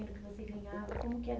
que você ganhava? Como que era?